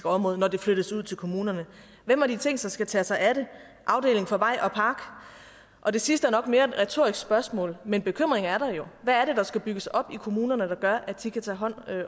område når det flyttes ud til kommunerne hvem har de tænkt sig skal tage sig af det afdeling for vej og park og det sidste er nok mere et retorisk spørgsmål men bekymringen er der jo hvad er det der skal bygges op i kommunerne der gør at de kan tage hånd